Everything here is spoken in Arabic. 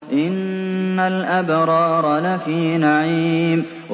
إِنَّ الْأَبْرَارَ لَفِي نَعِيمٍ